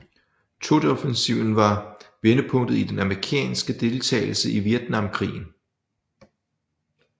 Tetoffensiven var vendepunktet i den amerikanske deltagelse i Vietnamkrigen